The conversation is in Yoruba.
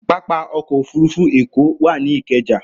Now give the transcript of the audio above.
Pápá ọkọ̀-òfurufú Èkó wà ní Ìkẹjà.